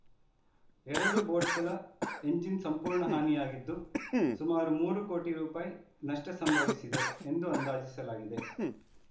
ಎರಡು ಬೋಟ್‌ಗಳ ಎಂಜಿನ್‌ ಸಂಪೂರ್ಣ ಹಾನಿಯಾಗಿದ್ದು ಸುಮಾರು ಮೂರು ಕೋಟಿ ರೂಪಾಯಿ ನಷ್ಟಸಂಭವಿಸಿದೆ ಎಂದು ಅಂದಾಜಿಸಲಾಗಿದೆ